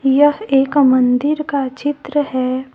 यह एक मंदिर का चित्र है।